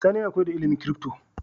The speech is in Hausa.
Sani yAna koyar da ilimin crypto